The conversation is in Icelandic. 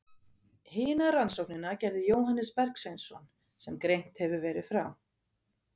Hina rannsóknina gerði Jóhannes Bergsveinsson, sem greint hefur verið frá.